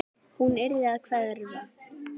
Hún yrði að hverfa.